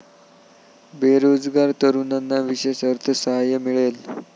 बेरोजगार तरुणांना विशेष अर्थसहाय्य मिळेल.